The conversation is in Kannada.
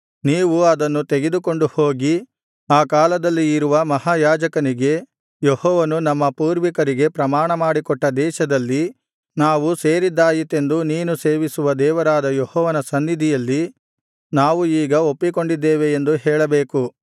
ನೀವು ಅದನ್ನು ತೆಗೆದುಕೊಂಡುಹೋಗಿ ಆ ಕಾಲದಲ್ಲಿ ಇರುವ ಮಹಾಯಾಜಕನಿಗೆ ಯೆಹೋವನು ನಮ್ಮ ಪೂರ್ವಿಕರಿಗೆ ಪ್ರಮಾಣಮಾಡಿಕೊಟ್ಟ ದೇಶದಲ್ಲಿ ನಾವು ಸೇರಿದ್ದಾಯಿತೆಂದು ನೀನು ಸೇವಿಸುವ ದೇವರಾದ ಯೆಹೋವನ ಸನ್ನಿಧಿಯಲ್ಲಿ ನಾವು ಈಗ ಒಪ್ಪಿಕೊಂಡಿದ್ದೇವೆ ಎಂದು ಹೇಳಬೇಕು